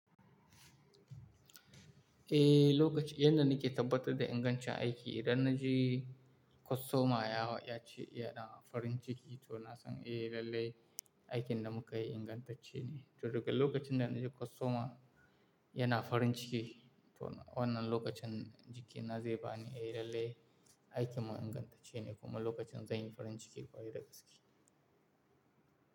Eh, lokacin yadda nake tabbatar da ingancin aiki, idan na je kostoma ya ce yana farin ciki, to na san eh lallai aikin da muka yi ingantacce ne. To daga lokacin da na ji kostoma yana farin ciki, to wannan lokacin jikina zai ba ni eh lallai aikin mu ingantacce ne kuma lokacin zan yi farin ciki ƙwari da gaske.